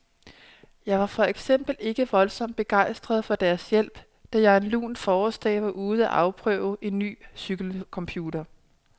Jeg var for eksempel ikke voldsomt begejstret for deres hjælp, da jeg en lun forårsdag var ude for at afprøve en ny cykelcomputer.